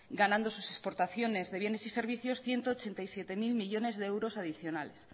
ganando sus exportaciones de bienes y servicios ciento ochenta y siete mil millónes de euros adicionales